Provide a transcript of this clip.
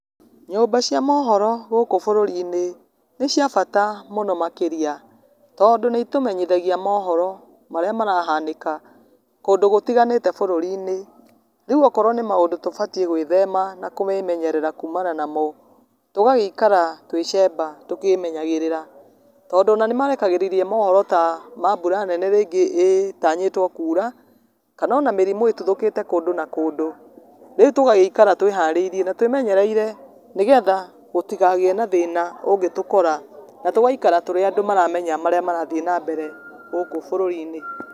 Nyũmba cia mohoro gũkũ bũrũrinĩ, nĩciabata mũno makĩria, tondũ nĩitũmenyithagia mohoro marĩa marahanĩka, kũndũ gũtiganĩte bũrũrinĩ, rĩũ okorwo nĩ maũndũ tũbatiĩ gwĩthema na kwĩmenyerera kumana namo, tũgagĩikara twĩ cemba tũkĩmenyagĩrĩra, tondũ ona nĩmarekagĩrĩria mohoro ta ma mbura nene rĩngĩ ĩtanyĩtwo kura, kana ona mĩrimũ ĩtuthũkĩte kũndũ na kũndũ, rĩũ tũgaikara twĩharĩirie na twĩmenyereire, nĩgetha gũtikagĩe na thĩna ũngĩtũkora na tũgaikara tũrĩ andũ maramenya marĩa marathiĩ na mbere gũkũ bũrũrinĩ.